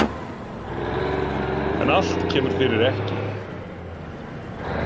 En allt kemur fyrir ekki.